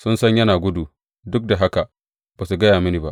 Sun san yana gudu, duk da haka ba su gaya mini ba.